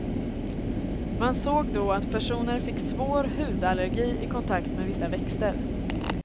Man såg då att personer fick svår hudallergi i kontakt med vissa växter.